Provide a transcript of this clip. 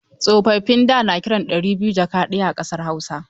Tsofaffin da na kiran ɗari biyu jaka ɗaya a ƙasar Hausa.